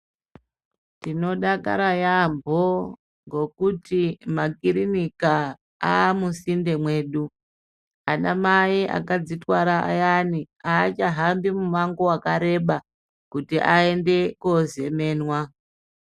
Tinodakara yaambo ngekuti makirinika amusinde mwedu. Ana mai akadzitwara ayani aachahambi mumango wakareba kuti aende kozemenwa.